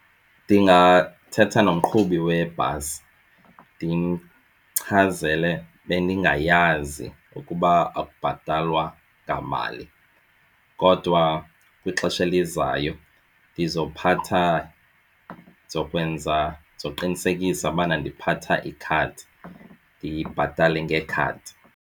Ndingathetha nomqhubi webhasi ndimchazele bendingayazi ukuba akubhatalwa ngamali kodwa kwixesha elizayo ndizophatha ndizokwenza ndizokuqinisekisa ubana ndiphatha ikhadi ndibhatale ngekhadi.